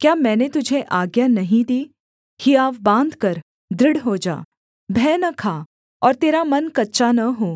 क्या मैंने तुझे आज्ञा नहीं दी हियाव बाँधकर दृढ़ हो जा भय न खा और तेरा मन कच्चा न हो